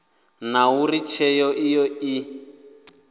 na uri tsheo iyo i